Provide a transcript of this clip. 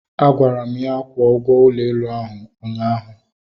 Agwara m ya kwụọ ụgwọ ụlọ elu ahụ ụnyaahụ